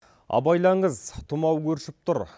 абайлаңыз тымау өршіп тұр